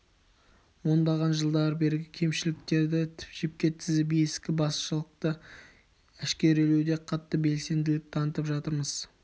ондаған жылдан бергі кемшіліктерді жіпке тізіп ескі басшылықты әшкерелеуде қатты белсенділік танытып жатырмыз